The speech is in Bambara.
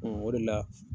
o de la